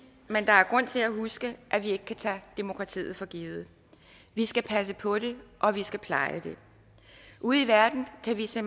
men der er grund til at huske at vi ikke kan tage demokratiet for givet vi skal passe på det og vi skal pleje det ude i verden kan vi se